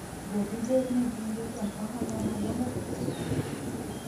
Be dibed ni gin jotend ohala madongo e piny mangima?